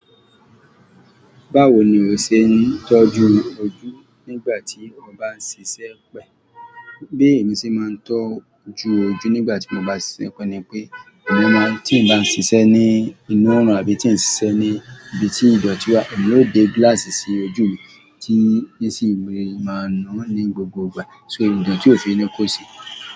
Báwo ni o ṣe ń tọ́jú ojú nígbà tí o bá ń ṣiṣẹ́ pẹ́? Bí èmi ṣe máa ń tọ́jú ojú nígbà tí mo bá ń ṣiṣẹ́ pẹ́ ni pé, èmi máa tí n bá ń ṣiṣẹ́ ní inú ọ̀run àbí tí ń ṣiṣẹ́ ní ibi tí ìdọ̀tí wà, èmi yóò dé glass sí ojú mi tí nísìí mi máa ń ná ní gbogbo ìgbà. So idò̀tí òfin ni kó ṣe.